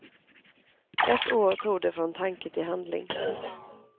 Ett år tog det från tanke till handling.